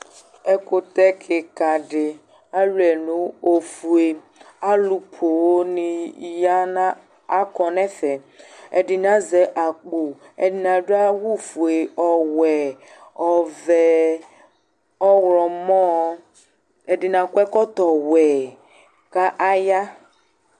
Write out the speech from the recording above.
ɛkutɛ keka di aluiɛ no ofue alò poŋ ni ya na akɔ n'ɛfɛ ɛdini azɛ akpo ɛdini adu awu fue ɔwɛ ɔvɛ ɔwlɔmɔ ɛdini akɔ ɛkɔtɔ wɛ k'aya.